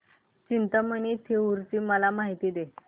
चिंतामणी थेऊर ची मला माहिती दे